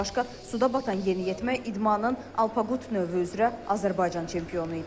Bundan başqa, suda batan yeniyetmə idmanın Alpaqut növü üzrə Azərbaycan çempionu idi.